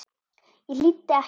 Ég hlýddi ekki.